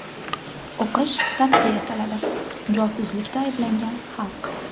O‘qish tavsiya etiladi: Josuslikda ayblangan xalq.